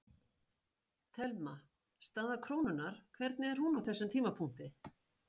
Telma: Staða krónunnar, hvernig er hún á þessum tímapunkti?